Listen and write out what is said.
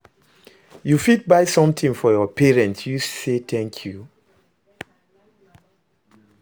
You fit buy something for your parents use say thank you